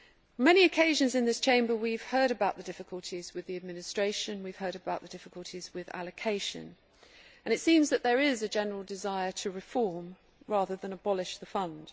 On many occasions in this Chamber we have heard about the difficulties with administration and we have heard about the difficulties with allocation, and it seems that there is a general desire to reform, rather than abolish, the Fund.